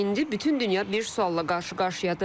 İndi bütün dünya bir sualla qarşı-qarşıyadır.